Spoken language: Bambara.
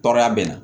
Tɔɔrɔya bɛ na